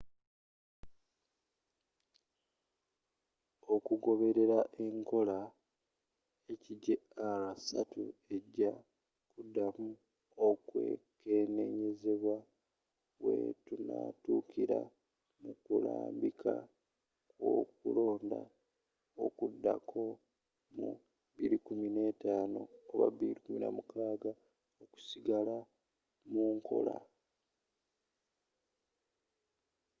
okugoberera enkola hjr-3 eja kudamu okwekenenyezebwa wetunatukira mukulambika kwokulonda okudako mu 2015 oba 2016 okusigala munkola